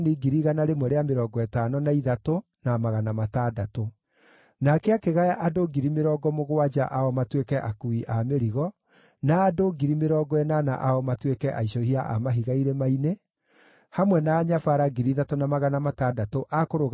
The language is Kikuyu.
Nake akĩgaya andũ 70,000 ao matuĩke akuui a mĩrigo, na andũ 80,000 ao matuĩke aicũhia a mahiga irĩma-inĩ, hamwe na anyabara 3,600 a kũrũgamĩrĩra andũ makĩruta wĩra.